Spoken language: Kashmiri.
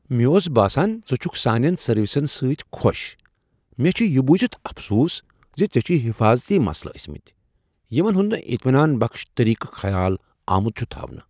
مےٚ اوس باسان ژٕ چھُکھ سانین سروسن سۭتۍ خوش مےٚ چھ یہ بوزِتھ افسوس زِ ژےٚ چھُے حفٲظتی مسلہٕ ٲسۍمِتۍ یمن ہُند نہ اطمینان بخش طریقہ خیال آمت چھُ تھاونہ۔